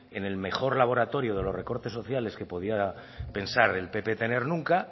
en el mejor laboratorio de los recortes sociales que podía pensar el pp tener nunca